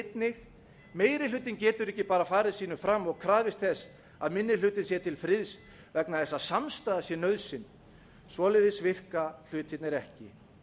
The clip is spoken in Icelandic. einnig meiri hlutinn getur ekki bara farið sínu fram og krafist þess að minni hlutinn sé til friðs vegna þess að samstaða sé nauðsyn svoleiðis virka hlutirnir ekki